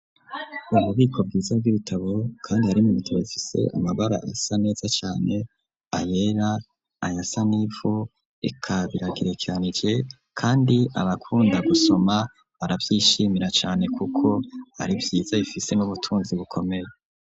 uububiko bwiza b'ibitabo kandi yarimubtabifise amabara asa neza cane ayera anyasanifo ikabiragira Caneije kandi abakunda gusoma barabyishimira cane kuko ari vyiza bifise n'ubutunzi bukomeye.